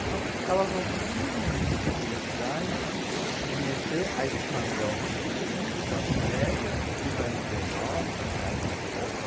Então, elas não precisam ir para o centro da cidade se submeter a esse padrão, né, de classe média, que vai dizer, nossa, com essa roupa,